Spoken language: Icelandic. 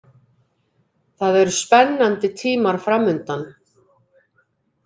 Það eru spennandi tímar framundan.